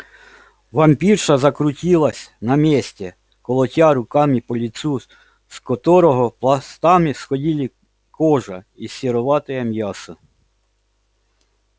вампирша закрутилась на месте колотя руками по лицу с которого пластами сходили кожа и сероватое мясо